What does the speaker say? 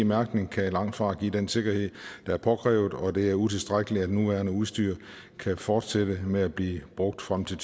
mærkning kan langtfra give den sikkerhed der er påkrævet og det er utilstrækkeligt at det nuværende udstyr kan fortsætte med at blive brugt frem til